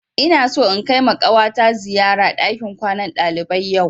Ina so in kaima ƙawata ziyara ɗakin kwanan ɗalibai yau